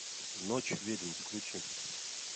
ночь ведьм включи